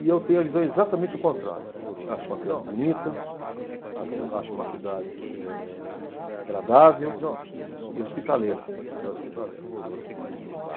E eu tenho a visão exatamente o contrário, acho uma cidade bonita, acho, acho uma cidade, eh, eh, agradável e hospitaleira, uma cidade hospitaleira.